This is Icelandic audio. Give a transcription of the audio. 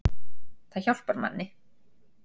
Það hjálpar manni